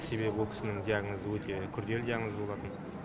себебі ол кісінің диагнозы өте күрделі диагноз болатын